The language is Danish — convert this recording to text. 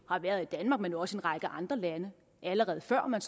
har været i danmark men også i en række andre lande allerede før man